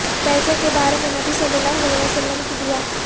پیسے کے بارے میں نبی صلی اللہ علیہ وسلم کی دعا